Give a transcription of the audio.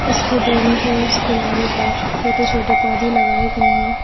उसके दोनों ओर किनारों पर छोटे छोटे पौधे लगाए गए हैं।